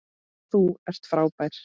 Þú ert frábær.